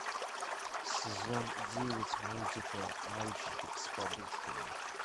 сезон девять мультика мальчики с подушками